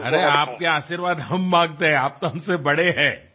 અરે આપના આશીર્વાદ અમે માગીએ છીએ આપ તો અમારાથી મોટા છો